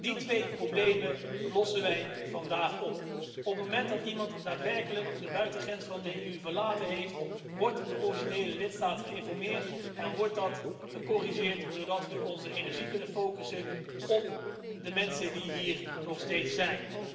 Die twee problemen lossen wij vandaag op. Op het moment dat iemand ook daadwerkelijk de buitengrens van de EU overschreden heeft, wordt de originele lidstaat geïnformeerd en wordt dat gecorrigeerd, zodat we onze energie kunnen richten op de mensen die hier nog steeds zijn.